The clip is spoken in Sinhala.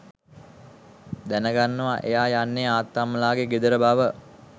දැනගන්නවා එයා යන්නේ අත්තම්මලාගේ ගෙදර බව.